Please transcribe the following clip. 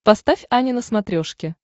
поставь ани на смотрешке